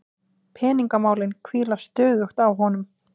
Peningamálin hvíla stöðugt á honum.